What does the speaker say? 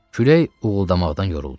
Külək uğuldamaqdan yoruldu.